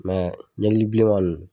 ɲɛkili bilenma nun